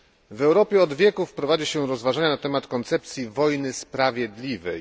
W Europie od wieków prowadzi się rozważania na temat koncepcji wojny sprawiedliwej.